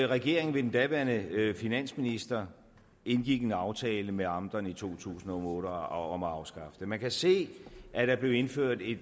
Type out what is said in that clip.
regeringen ved den daværende finansminister indgik en aftale med amterne i to tusind og otte om at afskaffe det man kan se at der blev indført en